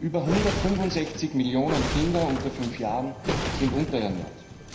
Über 165 Millionen Kinder unter fünf Jahren sind unterernährt.